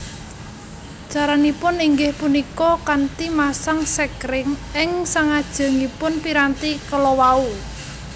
Caranipun inggih punika kanthi masang sekring ing sangajengipun piranti kalawau